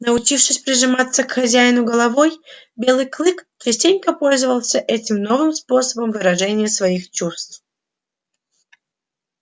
научившись прижиматься к хозяину головой белый клык частенько пользовался этим новым способом выражения своих чувств